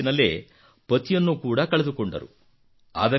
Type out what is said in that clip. ಚಿಕ್ಕ ವಯಸ್ಸಿನಲ್ಲೇ ವಿವಾಹವಾದ ನಂತರ ಪತಿಯನ್ನು ಕೂಡಾ ಕಳೆದುಕೊಂಡರು